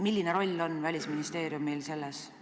Milline roll on Välisministeeriumil selles?